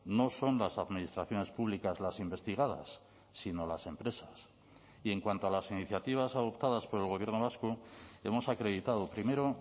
no son las administraciones públicas las investigadas sino las empresas y en cuanto a las iniciativas adoptadas por el gobierno vasco hemos acreditado primero